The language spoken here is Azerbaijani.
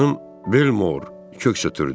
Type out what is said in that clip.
Xanım Belmor köks ötdürdü.